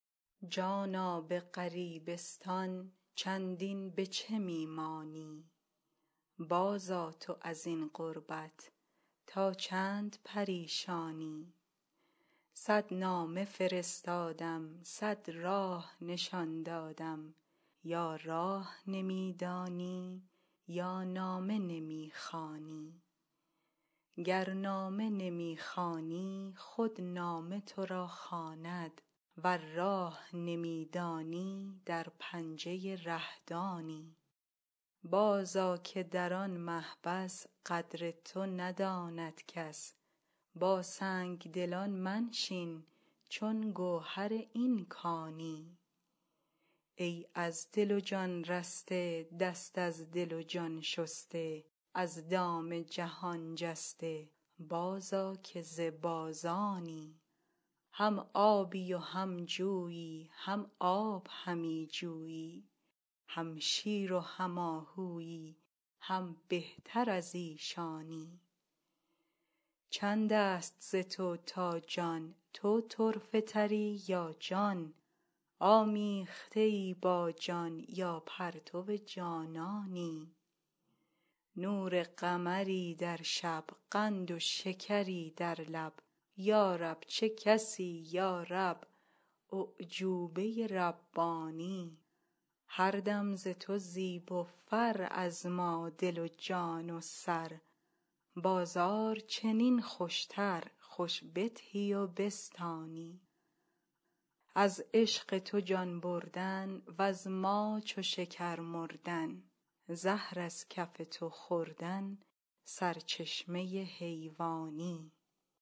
جانا به غریبستان چندین به چه می مانی بازآ تو از این غربت تا چند پریشانی صد نامه فرستادم صد راه نشان دادم یا راه نمی دانی یا نامه نمی خوانی گر نامه نمی خوانی خود نامه تو را خواند ور راه نمی دانی در پنجه ره-دانی بازآ که در آن محبس قدر تو نداند کس با سنگ دلان منشین چون گوهر این کانی ای از دل و جان رسته دست از دل و جان شسته از دام جهان جسته بازآ که ز بازانی هم آبی و هم جویی هم آب همی جویی هم شیر و هم آهویی هم بهتر از ایشانی چند است ز تو تا جان تو طرفه تری یا جان آمیخته ای با جان یا پرتو جانانی نور قمری در شب قند و شکری در لب یا رب چه کسی یا رب اعجوبه ربانی هر دم ز تو زیب و فر از ما دل و جان و سر بازار چنین خوشتر خوش بدهی و بستانی از عشق تو جان بردن وز ما چو شکر مردن زهر از کف تو خوردن سرچشمه حیوانی